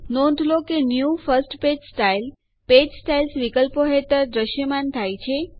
નોંધ લો કે new first page style page styles વિકલ્પો હેઠળ દ્રશ્યમાન થાય છે